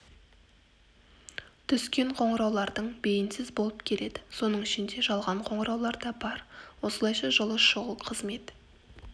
түскен қоңыраулардың бейінсіз болып келеді соның ішінде жалған қоңыраулар да бар осылайша жылы шұғыл қызмет